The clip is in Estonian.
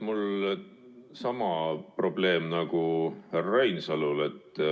Mul on sama probleem nagu härra Reinsalul.